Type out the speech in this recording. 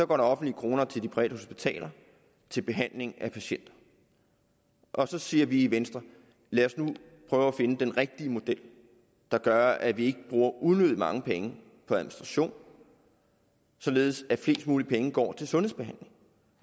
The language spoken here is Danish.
går der offentlige kroner til de private hospitaler til behandling af patienter og så siger vi i venstre lad os nu prøve at finde den rigtige model der gør at vi ikke bruger unødig mange penge på administration og således at flest mulige penge går til sundhedsbehandling